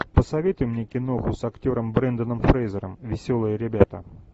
посоветуй мне киноху с актером бренданом фрейзером веселые ребята